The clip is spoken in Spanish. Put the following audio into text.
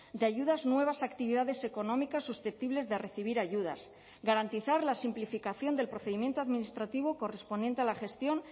de ayudas nuevas actividades económicas susceptibles de recibir ayudas garantizar la simplificación del procedimiento administrativo correspondiente a la gestión